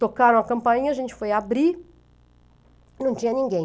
Tocaram a campainha, a gente foi abrir, não tinha ninguém.